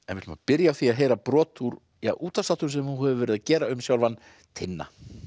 ætlum að byrja á því að heyra brot úr útvarpsþáttum sem þú hefur verið að gera um sjálfan Tinna